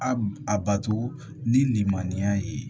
A a bato ni lilimaniya ye